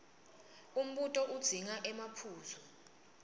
umbuto udzinga emaphuzu